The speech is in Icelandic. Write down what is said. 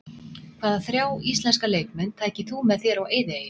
Hvaða þrjá íslenska leikmenn tækir þú með þér á eyðieyju?